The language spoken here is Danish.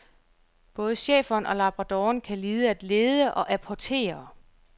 Både schæferen og labradoren kan lide at lede og apportere.